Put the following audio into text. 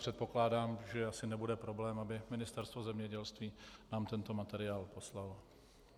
Předpokládám, že asi nebude problém, aby Ministerstvo zemědělství nám tento materiál poslalo.